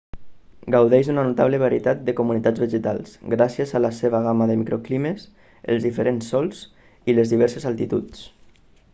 gaudeix d'una notable varietat de comunitats vegetals gràcies a la seva gamma de microclimes els diferents sòls i les diverses altituds